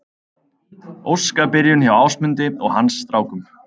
Óskabyrjun hjá Ásmundi og hans strákum